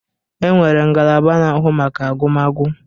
E nwere ngalaba na-ahụ maka agụmagụ.